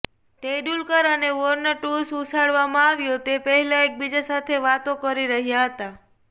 તેંડુલકર અને Warne toss ઉછાળવામાં આવ્યો તે પહેલા એકબીજા સાથે વાતો કરી રહ્યાં હતા